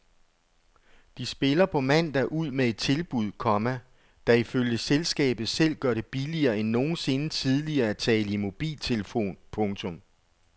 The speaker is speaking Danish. De spiller på mandag ud med et tilbud, komma der ifølge selskabet selv gør det billigere end nogensinde tidligere at tale i mobiltelefon. punktum